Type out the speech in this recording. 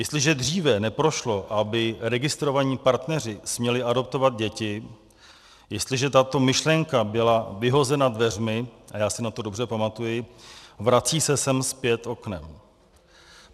Jestliže dříve neprošlo, aby registrovaní partneři směli adoptovat děti, jestliže tato myšlenka byla vyhozena dveřmi, a já si na to dobře pamatuji, vrací se sem zpět oknem.